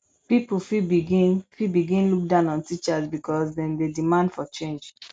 pipo fit begin fit begin look down on teachers because dem dey demand for change